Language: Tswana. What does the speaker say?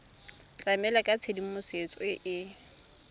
tlamela ka tshedimosetso e e